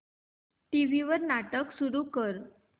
TV वर नाटक सुरू कर